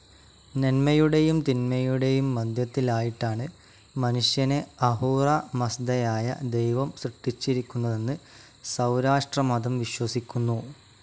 നന്മയുടെയും തിന്മയുടെയും മധ്യത്തിലായിട്ടാണ് മനുഷ്യനെ അഹൂറ മസ്ദയായ ദൈവം സൃഷ്ടിച്ചിരിക്കുന്നതെന്ന് സൗരാഷ്ട്രമതം വിശ്വസിക്കുന്നു.